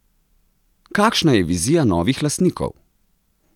Kakšna je vizija novih lastnikov?